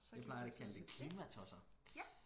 Jeg plejer at kalde det klimatosser